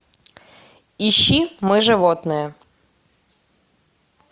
ищи мы животные